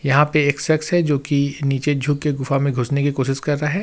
यहां पे एक शख्स है जोकि नीचे झुक के गुफा में घुसने की कोशिश कर रहा है।